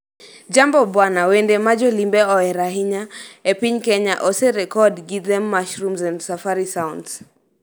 Jambo Bwana, wende ma jolimbe ohero ahinya e piny Kenya oserekod gi Them Mushrooms and Safari Sounds-